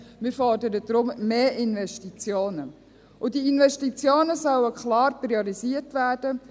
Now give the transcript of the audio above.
Wir fordern deshalb mehr Investitionen, und diese Investitionen sollen klar priorisiert werden: